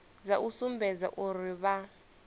dza u sumbedza uri vha